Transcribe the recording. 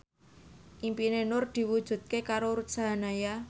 impine Nur diwujudke karo Ruth Sahanaya